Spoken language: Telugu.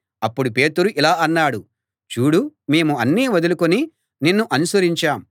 అప్పుడు పేతురు ఇలా అన్నాడు చూడు మేము అన్నీ వదులుకుని నిన్ను అనుసరించాం